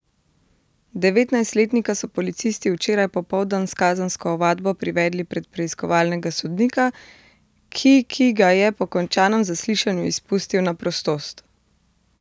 Devetnajstletnika so policisti včeraj popoldan s kazensko ovadbo privedli pred preiskovalnega sodnika, ki ki ga je po končanem zaslišanju izpustil na prostost.